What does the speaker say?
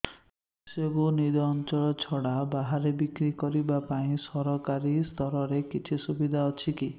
ଶସ୍ୟକୁ ନିଜ ଅଞ୍ଚଳ ଛଡା ବାହାରେ ବିକ୍ରି କରିବା ପାଇଁ ସରକାରୀ ସ୍ତରରେ କିଛି ସୁବିଧା ଅଛି କି